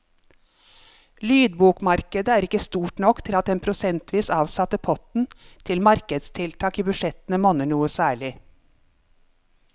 Lydbokmarkedet er ikke stort nok til at den prosentvis avsatte potten til markedstiltak i budsjettene monner noe særlig.